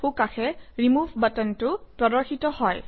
সোঁকাষে remove বাটনটো প্ৰদৰ্শিত হয়